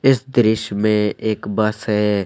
इस दृश्य में एक बस है।